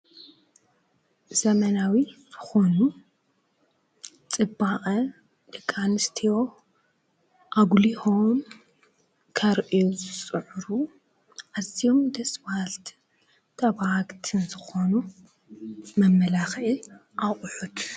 ዘመናዊ ዝኾኑ ፅባቀ ደቂ አንስትዮ ኣጉሊሆም ከርእዩ ዝፅዕሩ አዚዬም ደስብሃልቲን ፣ ተብጋህቲን ዝኾኑ መመላኽዒ ኣቑሑት።